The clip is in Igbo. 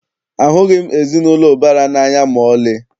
Ahụghị m ezinaụlọ ụbara n'anya maọlị.